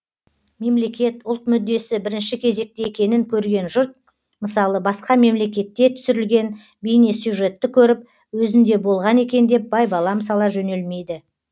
мемлекет ұлт мүддесі бірінші кезекте екенін көрген жұрт мысалы басқа мемлекетте түсірілген бейнесюжетті көріп өзінде болған екен деп байбалам сала жөнелмейді